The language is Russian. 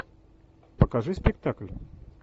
покажи спектакль